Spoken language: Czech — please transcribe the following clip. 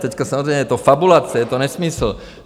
Teď samozřejmě je to fabulace, je to nesmysl.